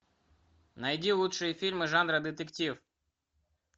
найди лучшие фильмы жанра детектив